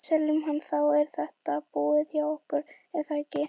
Ef við seljum hann, þá er þetta búið hjá okkur er það ekki?